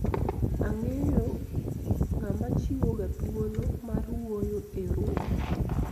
ang'eyo ng'ama chiwo ga thuolo mar wuoyo e romo